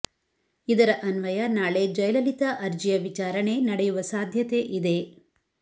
ಇದರ ಅನ್ವಯ ನಾಳೆ ಜಯಲಲಿತಾ ಅರ್ಜಿಯ ವಿಚಾರಣೆ ನಡೆಯುವ ಸಾಧ್ಯತೆ ಇದೆ